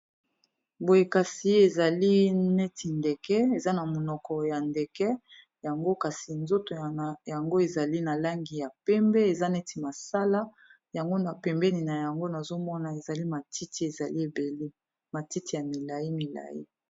Boye kasi ezali neti ndeke eza na monoko ya ndeke yango kasi nzoto yango ezali na langi ya pembe, eza neti masala yango na pembeni na yango nazomona ezali matiti ezali ebele matiti ya milai-milai